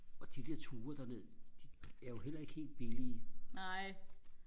og de der ture derned de er jo heller ikke helt billige